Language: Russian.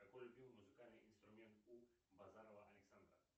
какой любимый музыкальный инструмент у базарова александра